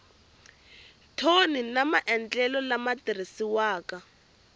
thoni na maendlelo lama tirhisiwaka